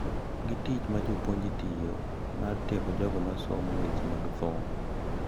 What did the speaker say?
Gi tich ma jopuonj tiyo mar tiego jogo masomo weche mag thum.